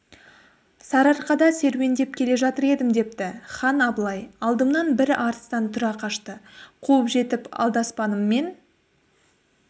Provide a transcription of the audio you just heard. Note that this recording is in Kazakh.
сарыарқада серуендеп келе жатыр едім депті хан абылай алдымнан бір арыстан тұра қашты қуып жетіп алдаспаныммен